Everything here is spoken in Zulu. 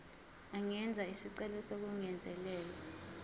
angenza isicelo sokungezelelwa